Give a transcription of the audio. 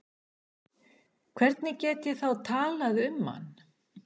Hvernig get ég þá talað um hann?